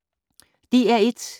DR1